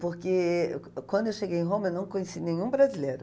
Porque quando eu cheguei em Roma, eu não conheci nenhum brasileiro.